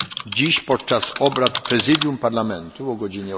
Dziś podczas obrad Prezydium Parlamentu o godz.